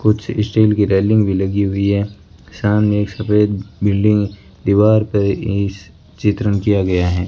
कुछ स्टील की रेलिंग भी लगी हुई है सामने एक सफेद बिल्डिंग दीवार पे इस चित्रण किया गया है।